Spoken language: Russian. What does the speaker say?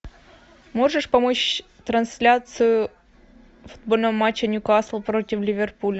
можешь помочь трансляцию футбольного матча ньюкасл против ливерпуля